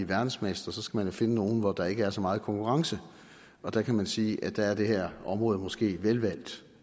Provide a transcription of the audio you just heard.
verdensmester så skal man finde nogle hvor der ikke er så meget konkurrence og der kan man sige at der er det her område måske velvalgt